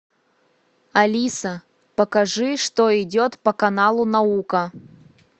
алиса покажи что идет по каналу наука